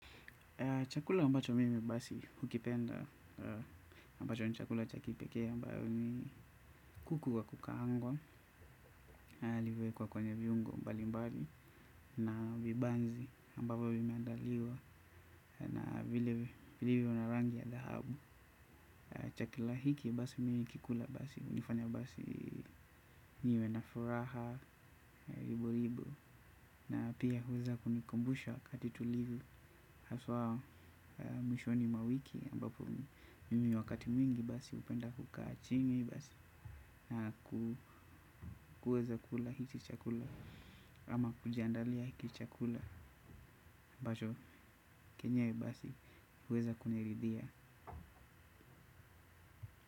Ambacho mimi basi hukipenda ambacho ni chakula cha kipekee ambayo ni kuku wa kukaangwa aliyewekwa kwenye viungo mbali mbali na vibanzi ambapo vimeandaliwa na vile vile viwe na rangi ya dhahabu. Chukila hiki basi mimi hukikula basi hunifanya basi niwe na furaha ribo ribo. Na pia huweza kunikumbusha wakati tulivu. Haswa mwishoni mwa wiki ambapo mimi wakati mwingi basi hupenda kukaa chini basi. Na kuweza kula hiki chakula. Ama kujiandalia hiki chakula ambacho chenyewe basi huweza kuniridhia.